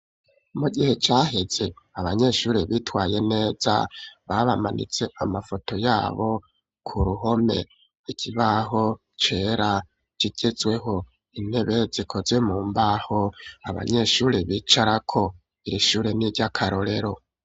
Mu gihe caheze, abanyeshure bitwaye neza, babamanitse, amafoto yabo, ku ruhome; ikibaho cera, kigezweho; intebe zikoze mu mbaho, abanyeshure bicarako; iri shure ni iry'akarorero.